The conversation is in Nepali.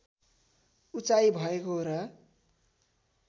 उचाइ भएको र